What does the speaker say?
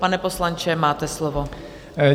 Pane poslanče, máte slovo.